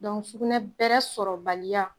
Dɔnku sugunɛ bɛrɛ sɔrɔbaliya